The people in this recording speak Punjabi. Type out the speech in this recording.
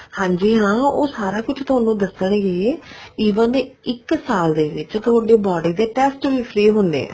ਹਾਂਜੀ ਹਾਂ ਉਹ ਸਾਰਾ ਕੁੱਝ ਥੋਨੂੰ ਦੱਸਣਗੇ even ਇੱਕ ਸਾਲ ਦੇ ਵਿੱਚ ਥੋਡੇ body ਦੇ test ਵੀ free ਹੁੰਦੇ ਨੇ